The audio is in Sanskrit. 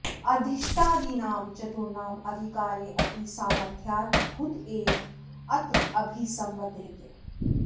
अधीष्टादीनां चतुर्णाम् अधिकारे ऽपि सामर्थ्याद् भूत एव अत्र अभिसम्बध्यते